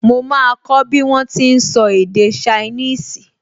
Mo máa kọ́ bí wọ́n ti n sọ èdè ṣainíìsì